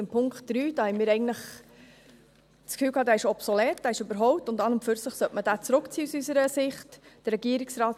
Bei Punkt 3 hatten wir eigentlich das Gefühl, er sei obsolet, er sei überholt, und an und für sich sollte man ihn aus unserer Sicht zurückziehen.